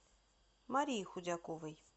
марии худяковой